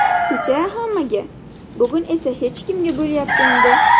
Kecha hammaga, bugun esa hech kimga bo‘lyapti endi.